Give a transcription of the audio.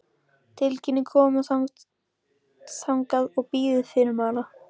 Tilkynnið komu þangað og bíðið fyrirmæla.